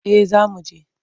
Eh za mu je.